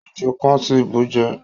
Èjò kan ti búú jẹ